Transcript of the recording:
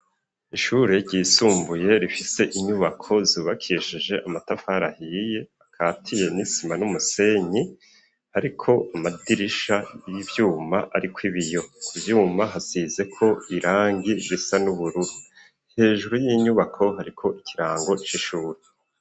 Ishure ryisumbuye, rifise inyubako, zubakishije amatafari ahiye, akatiye n'isima n'umusenyi, ariko amadirisha y'ivyuma ariko ibiyo; ku vyuma, hasizeko irangi, risa n'ubururu; hejuru y'inyubako, hariko ikirango c' ishuri.